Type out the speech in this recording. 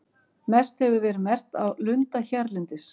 Mest hefur verið merkt af lunda hérlendis.